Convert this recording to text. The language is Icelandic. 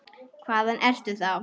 Hvaðan ertu þá?